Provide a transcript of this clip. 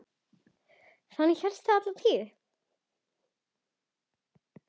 Þannig hélst það alla tíð.